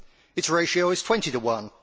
Its ratio is twenty to one.